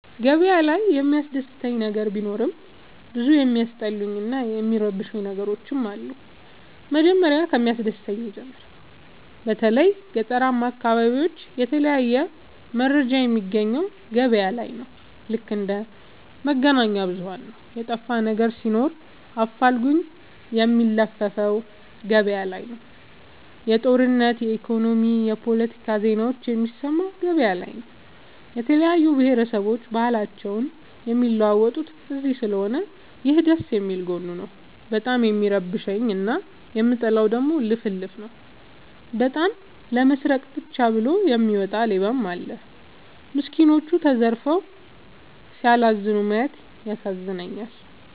ገበያ ላይ የሚያስደስ ነገር ቢኖርም ብዙ የሚያስጠሉኝ እና የሚረብሸኝ ነገሮች አሉ። መጀመሪያ ከሚያስደስተኝ ልጀምር በተለይ ገጠራማ አካቢዎች የተለያየ መረጃ የሚያገኘው ገበያ ነው። ልክ እንደ መገናኛብዙኋን ነው የጠፋነገር ሲኖር አፋልጉኝ የሚለፍፈው ገበያላይ ነው። የጦርነት የኢኮኖሚ የፓለቲካ ዜናዎችን የሚሰማው ገበያ ላይ ነው። የተለያየ ብሆረሰቦች ባህልአቸውን የሚለዋወጡት እዚስለሆነ ይህ ደስየሚል ጎኑ ነው። በጣም የሚረብሸኝ እና የምጠላው ደግሞ ልፍልፍ ነው። በጣም ለመስረቃ ብቻ ብሎ የሚወጣ ሌባም አለ። ሚስኩኖች ተዘርፈው ሲያላዝኑ ማየት ይዘገንናል።